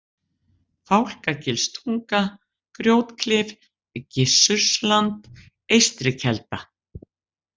Fálkagilstunga, Grjótklif, Gissursland, Eystrikelda